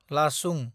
लाचुं